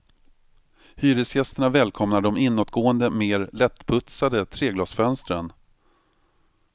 Hyresgästerna välkomnar de inåtgående mer lättputsade treglasfönstren.